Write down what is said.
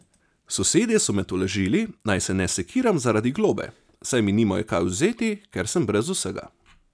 Sosedje so me tolažili, naj se ne sekiram zaradi globe, saj mi nimajo kaj vzeti, ker sem brez vsega.